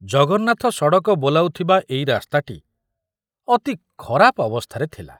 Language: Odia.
ଜଗନ୍ନାଥ ସଡ଼କ ବୋଲାଉଥିବା ଏଇ ରାସ୍ତାଟି ଅତି ଖରାପ ଅବସ୍ଥାରେ ଥିଲା।